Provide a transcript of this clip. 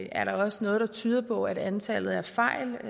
er der også noget der tyder på at antallet af fejl